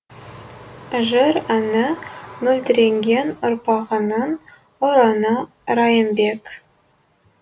жыр әні мөлдіреген ұрпағыңның ұраны райымбек